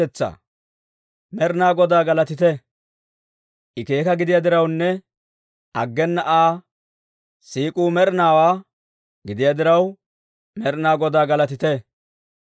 Med'inaa Godaa galatite! I keeka gidiyaa dirawunne, aggena Aa siik'uu med'inaawaa gidiyaa diraw, Med'inaa Godaa galatite.